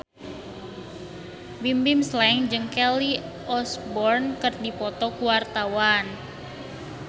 Bimbim Slank jeung Kelly Osbourne keur dipoto ku wartawan